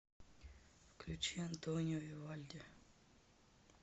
включи антонио вивальди